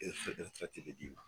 di